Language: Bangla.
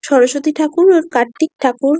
সরস্বতী ঠাকুর আর কার্তিক ঠাকুর।